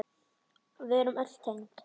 Við erum öll tengd.